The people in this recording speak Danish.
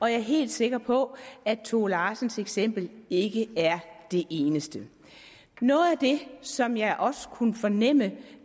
jeg er helt sikker på at tove larsens eksempel ikke er det eneste noget af det som jeg også kunne fornemme